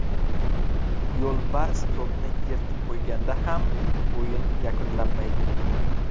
Yo‘lbars to‘pni yirtib qo‘yganda ham o‘yin yakunlanmaydi.